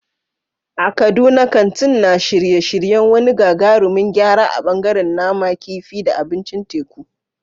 A Kaduna, kantin na shirye-shiryen wani gagarumin gyara a ɓangaren nama, kifi, da abincin teku.